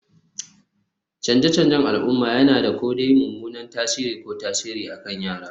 Canje-canjen al'umma yana da ko dai mummunan tasiri ko tasiri akan yara